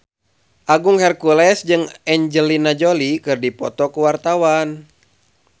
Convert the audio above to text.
Agung Hercules jeung Angelina Jolie keur dipoto ku wartawan